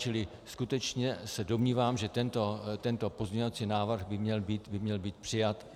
Čili skutečně se domnívám, že tento pozměňovací návrh by měl být přijat.